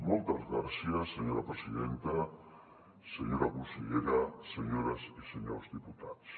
moltes gràcies senyora presidenta senyora consellera senyores i senyors diputats